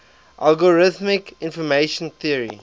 algorithmic information theory